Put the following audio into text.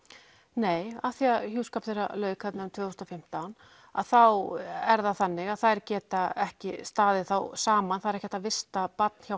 nei af því að hjúskap þeirra lauk tvö þúsund og fimmtán að þá er það þannig að þær geta ekki staðið saman það er ekki hægt að vista barn hjá